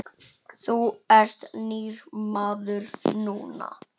Þú ert nýr maður núna.